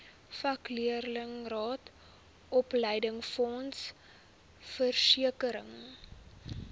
vakleerlingraad opleidingsfonds versekering